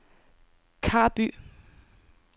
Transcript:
Karby